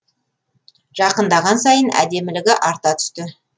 жақындаған сайын әдемілігі арта түсті